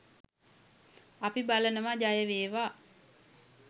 අපි බලනවා ජය වේවා